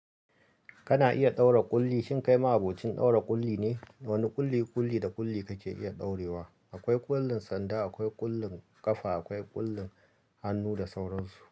Kana iya ɗaura ƙulli. Shin kai ma abokin ɗaura ƙulli ne? Wane ƙulli, ƙulli da ƙulli kake iya ɗaurewa? Akwai ƙullun sanda, akwai ƙullun ƙafa, akwai ƙullun hannu da sauran su.